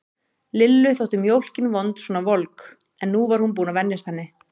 Lillu þótt mjólkin vond svona volg, en nú var hún búin að venjast henni.